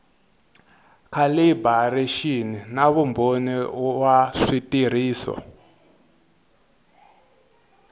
calibiraxini na vumbhoni wa switirhiso